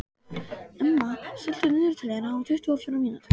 Emma, stilltu niðurteljara á tuttugu og fjórar mínútur.